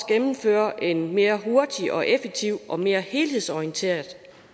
gennemfører en mere hurtig og effektiv og mere helhedsorienteret